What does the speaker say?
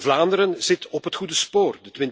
Vlaanderen zit op het goede spoor.